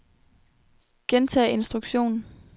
gentag instruktion